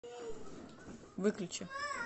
выключи